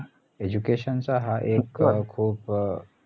education चा हा एक ए खूप ए